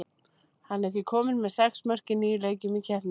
Hann er því kominn með sex mörk í níu leikjum í keppninni.